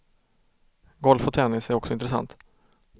Golf och tennis är också intressant.